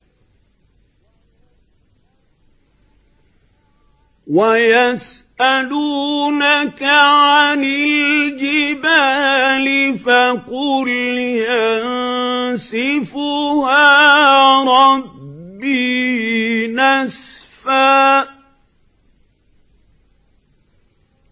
وَيَسْأَلُونَكَ عَنِ الْجِبَالِ فَقُلْ يَنسِفُهَا رَبِّي نَسْفًا